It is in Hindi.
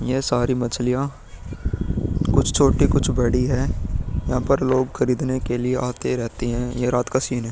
यह सारी मछलियाॅं कुछ छोटी कुछ बड़ी हैं। यहाँ पर लोग खरीदने के लिए आते रहते हैं। ये रात के सीन है।